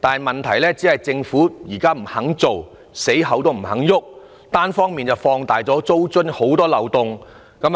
問題是，政府現時堅持不實施租管，並且單方面放大租金津貼的漏洞。